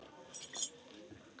En það dugði ekki til.